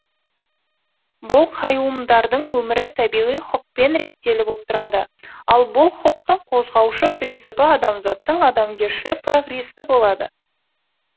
бұл қайуымдардың өмірі табиғи хұқпен реттеліп отырады ал бұл хұқтың қозғаушы принципі адамзаттың адамгершілік прогрессі болады